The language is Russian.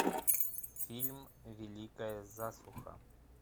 фильм великая засуха